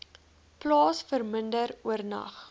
plaas verminder oornag